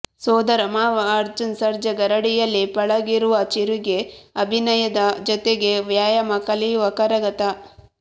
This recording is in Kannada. ಸೋದರಮಾವ ಅರ್ಜುನ್ ಸರ್ಜಾ ಗರಡಿಯಲ್ಲಿ ಪಳಗಿರುವ ಚಿರುಗೆ ಅಭಿನಯದ ಜೊತೆಗೆ ವ್ಯಾಯಾಮ ಕಲೆಯೂ ಕರಗತ